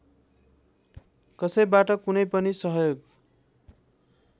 कसैबाट कुनै पनि सहयोग